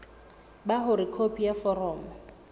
ba hore khopi ya foromo